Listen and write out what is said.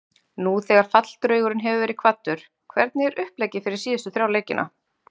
Nú þegar falldraugurinn hefur verið kvaddur, hvernig er uppleggið fyrir síðustu þrjá leikina?